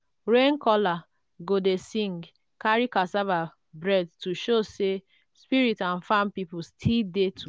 rain caller go dey sing carry cassava bread to show say spirit and farm people still dey together.